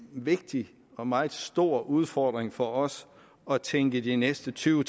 vigtig og meget stor udfordring for os at tænke de næste tyve